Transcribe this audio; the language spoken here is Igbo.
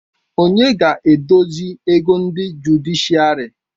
Onye ga-edozi ego ndị jụdịshịàrị